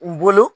N bolo